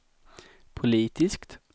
politiskt